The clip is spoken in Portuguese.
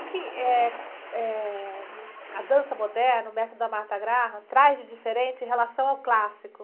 O quê que, eh, eh, a dança moderna, o método da Marta Graham, traz de diferente em relação ao clássico?